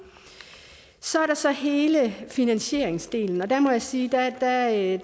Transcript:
så er der så hele finansieringsdelen der må jeg sige at